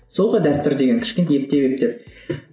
сол ғой дәстүр деген кішкене ептеп ептеп